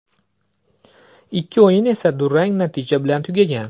Ikki o‘yin esa durang natija bilan tugagan.